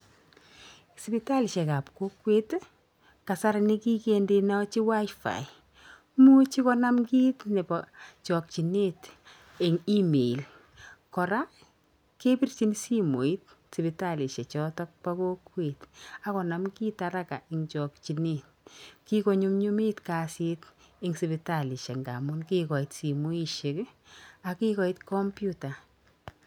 Sipitalishek ap kokwet kasari ko kigindechi WIFI. Imuchi konam kiit nebo chokinet eng email. Koraa, kepirchin simoit sipitalishek chotok bo kokwet ago nam kit haraka en chokinet. Ki ko nyumnyumit kasit eng' sipitalishek ngamu kikoit simoishek ak kikoit kompyuta.